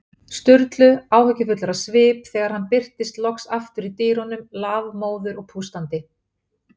Sturlu, áhyggjufullir á svip, þegar hann birtist loks aftur í dyrunum, lafmóður og pústandi.